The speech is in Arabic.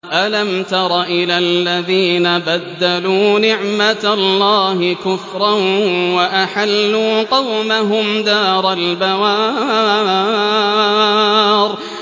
۞ أَلَمْ تَرَ إِلَى الَّذِينَ بَدَّلُوا نِعْمَتَ اللَّهِ كُفْرًا وَأَحَلُّوا قَوْمَهُمْ دَارَ الْبَوَارِ